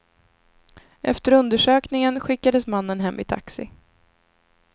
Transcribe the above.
Efter undersökningen skickades mannen hem i taxi.